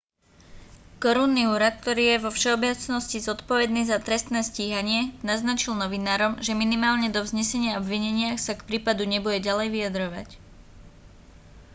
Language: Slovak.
korunný úrad ktorý je vo všeobecnosti zodpovedný za trestné stíhanie naznačil novinárom že minimálne do vznesenia obvinenia sa k prípadu nebude ďalej vyjadrovať